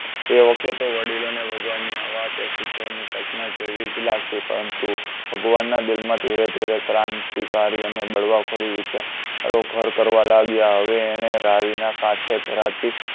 તે વખતે તો વડીલો ને ભગવાનની આ વાત એ કિશોરની કલ્પના જેવી જ લાગતી પરંતુ ભગવાનના દિલ માં ધીરે ધીરે ક્રાંતિકારી અને બળવાખોરી વિચારો ઘર કરવા લાગ્યા હવે એને રાવીના કાંઠે ભરાતી